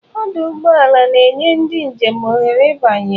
Ọdụ ụgbọ ala na-enye ndị njem ohere ịbanye.